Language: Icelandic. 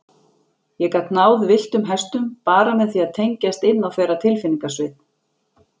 Ég gat náð villtum hestum, bara með því að tengjast inn á þeirra tilfinningasvið.